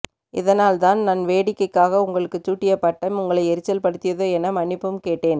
இதனால் தான் நான் வேடிக்கைக்காக உங்களுக்கு சூட்டிய பட்டம் உங்களை எரிச்சல்படுத்தியதோ என மன்னிப்பும் கேட்டேன்